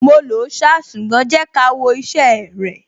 Mo lòó ṣá, ṣùgbọ́n jẹ́ ká wo iṣẹ́ ẹ rẹ̀.